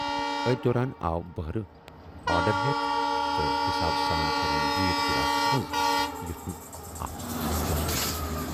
ٲتھۍ دوران آو بہرٕ آرڈر ہٮ۪تھ تہٕ حِسابہٕ سان پھِرٕن بیٖر گِلاسس منز یُتھ نہٕ اتھ پوس کھسہِ۔